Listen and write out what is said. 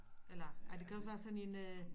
Eller ej det kan også være sådan en øh